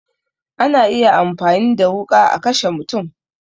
Ana iya amfani da wuƙa a kashe mutum